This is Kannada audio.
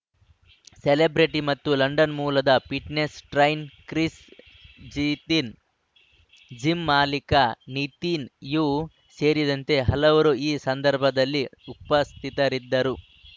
ಸೆಲೆಬ್ರಿಟಿ ಮತ್ತು ಲಂಡನ್‌ ಮೂಲದ fitness train Chris Gethin gym ಮಾಲೀಕ ನಿತಿನ್‌ ಯು ಸೇರಿದಂತೆ ಹಲವರು ಈ ಸಂದರ್ಭದಲ್ಲಿ ಉಪಸ್ಥಿತರಿದ್ದರು